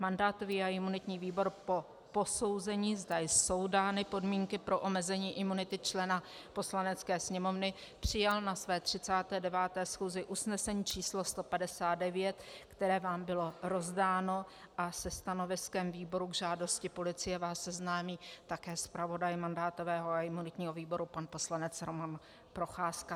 Mandátový a imunitní výbor po posouzení, zda jsou dány podmínky pro omezení imunity člena Poslanecké sněmovny, přijal na své 39. schůzi usnesení číslo 159, které vám bylo rozdáno, a se stanoviskem výboru k žádosti policie vás seznámí také zpravodaj mandátového a imunitního výboru pan poslanec Roman Procházka.